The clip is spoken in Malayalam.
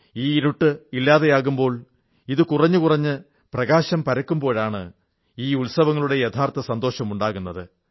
ഈ ഇരുട്ട് ഇല്ലാതാകുമ്പോൾ ഇത് കുറഞ്ഞുകുറഞ്ഞ് പ്രകാശം പരക്കുമ്പോഴാണ് ഈ ഉത്സവങ്ങളുടെ യഥാർഥ സന്തോഷമുണ്ടാകുന്നത്